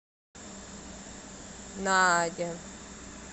наадя